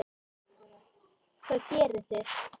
Hvað gerið þið?